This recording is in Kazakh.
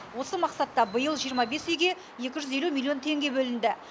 осы мақсатта биыл жиырма бес үйге екі жүз елу миллион теңге бөлінді